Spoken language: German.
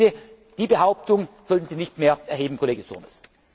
ist. Bitte, die Behauptung sollten Sie nicht mehr erheben, Kollege Turmes!